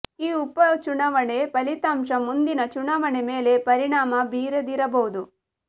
ಈ ಉಪ ಚುನಾವಣೆ ಫಲಿತಾಂಶ ಮುಂದಿನ ಚುನಾವಣೆ ಮೇಲೆ ಪರಿಣಾಮ ಬೀರದಿರಬಹುದು